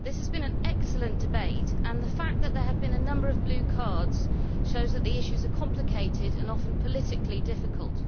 Mr President, this has been an excellent debate, and the fact that there have been a number of blue cards shows that the issues are complicated and often politically difficult.